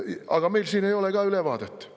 Aga meil siin ei ole ülevaadet.